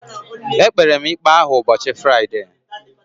E kpere m ikpe ahụ n'ubochi Friday.